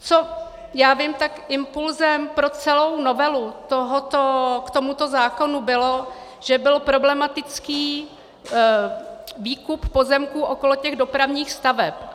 Co já vím, tak impulsem pro celou novelu k tomuto zákonu bylo, že byl problematický výkup pozemků okolo těch dopravních staveb.